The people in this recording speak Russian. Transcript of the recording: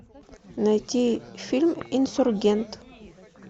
найти фильм инсургент